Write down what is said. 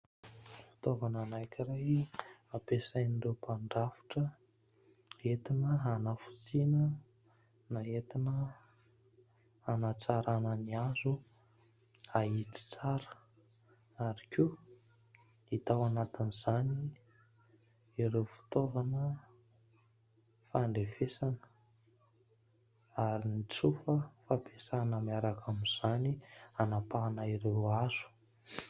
Fitaovana anankiray ampiasain'ireo mpandrafitra, entina hanafotsiana na entina hanatsaràna ny hazo hahitsy tsara. Ary koa hita ao anatin'izany ireo fitaovana fandrefesana, ary ny tsofa fampiasaina miaraka amin'izany hanampahana ireo hazo.